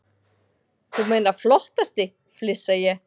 Þú meinar flottasti, flissa ég.